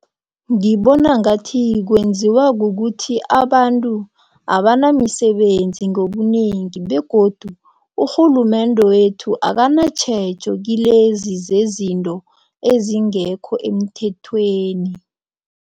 Ngibona ngathi kwenziwa kukuthi abantu abanamisebenzi ngobunengi begodu urhulumende wethu akanatjhejo kilezi zezinto ezingekho emthethweni.